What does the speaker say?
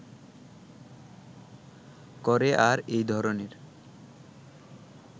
করে আর এই ধরনের